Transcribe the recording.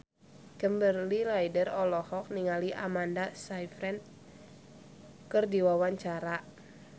Kimberly Ryder olohok ningali Amanda Sayfried keur diwawancara